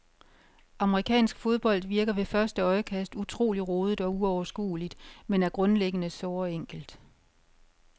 Amerikansk fodbold virker ved første øjekast utrolig rodet og uoverskuligt, men er grundlæggende såre enkelt.